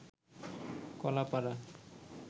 Kalapara